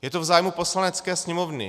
Je to v zájmu Poslanecké sněmovny.